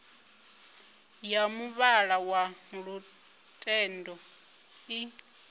ya muvhala wa lutendo i